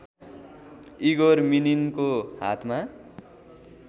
Igor मिनिनको हातमा